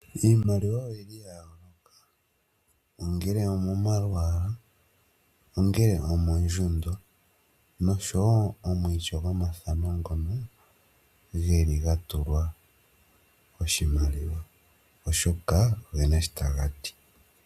Iimaliwa oyili yayooloka, ongele omomalwaala, ongele omondjundo noshowoo omwiityo gwomafano ngono geli gatulwa oshimaliwa shono oshoka ogena sho taga ti.